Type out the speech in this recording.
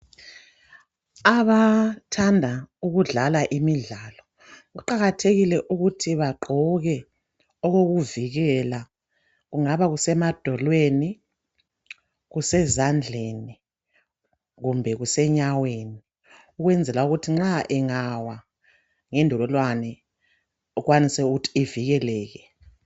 Abathanda ukudlala imidlalo, kuqakathekile ukuthi bagqoke okokuvikela. Kungaba kusemadolweni, kusezandleni kumbe kusenyaweni ukwenzela ukuthi nxa engawa ngendololwane ukwanise ukuthi ivikeleke